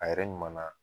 A yɛrɛ ɲuman na